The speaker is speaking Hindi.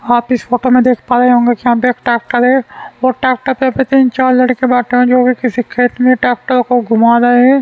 आप इस फोटो में देख पा रहे होंगे कि यहां पे एक ट्रैक्टर है और ट्रैक्टर पे तीन चार लड़के बैठे हुए हैं जो कि किसी खेत में ट्रैक्टर को घुमा रहे हैं।